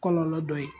Kɔlɔlɔ dɔ ye